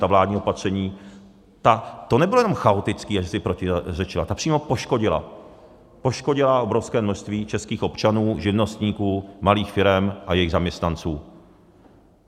Ta vládní opatření, to nebylo jenom chaotické, jak si protiřečila, ta přímo poškodila, poškodila obrovské množství českých občanů, živnostníků, malých firem a jejich zaměstnanců.